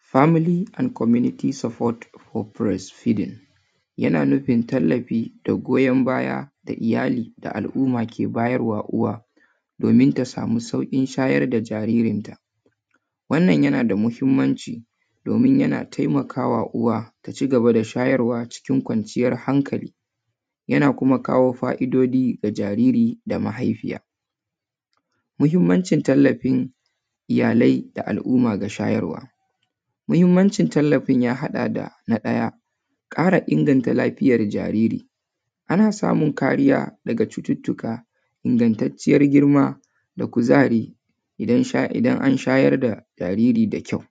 Family and community support hope for breastfeeding yana nufin tallafi da goyon baya da iyali da al’umma ke bayar wa uwa domin ta samu sauƙin shayar da jaririnta. Wannan yana da muhimmanci, domin yana taimaka wa uwa, ta ci gaba da shayarwa cikin kwanciyar hankali yana kuma kawo fa’idoji ga jariri da mahaifiya. Muhimmancin tallafin iyalai da al’umma ga shayarwa: muhimmancin tallafin ya haɗa da:- na ɗaya, ƙara inganta lafiyar jariri. Ana samun kariya daga cututtuka, ingantacciyar girma, da kuzari idan an shayar da jariri da kyau.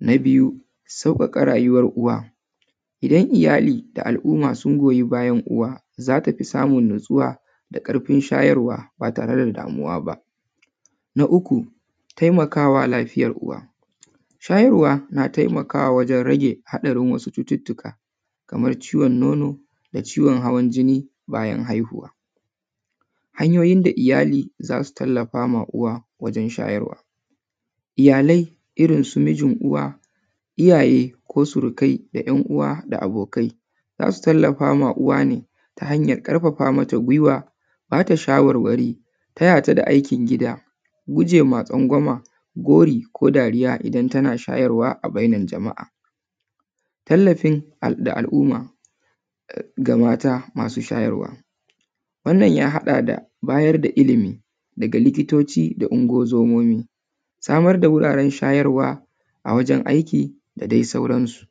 Na biyu, sauƙaƙa rayuwar uwa:- idan iyali da al’umma sun goyi bayan uwa, za ta fi samun natsuwa da ƙarfin shaywarwa, ba tare da damuwa ba. Na uku, taimaka wa lafiyar uwa:- shayarwa na taimakawa wajen rage haɗarin wasu cututtuka, kamar ciwon nono da ciwon hawan jini bayan haihuwa. Hanyoyin da iyali za su tallafa ma uwa wajen shayarwa: iyalai irin su mijin uwa, iyaye ko surikai da ‘yan uwa da abokai za su tallafa ma uwa ne ta hanyar ƙarfafa mata gwiwa, ba ta shawarwari, taya ta da aikin gida, guje ma tsangwama, gori ko dariya idan tana shayarwa a bainar jama’a. Tallafin da al’umma ga mata masu shaywarwa: wannan ya haɗada bayar da ilimi daga likitoci da Ungo-zomomi, samar da wuraren shayarwa a wajen aiki da dai sauransu.